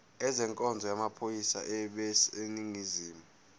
ezenkonzo yamaphoyisa aseningizimu